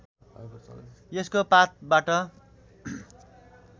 यसको पातबाट